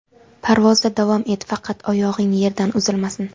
"Parvozda davom et, faqat oyog‘ing yerdan uzilmasin".